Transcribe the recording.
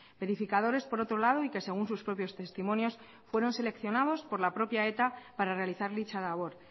verificadores por otro lado y que según sus propios testimonios fueron seleccionados por la propia eta para realizar dicha labor